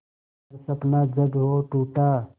हर सपना जब वो टूटा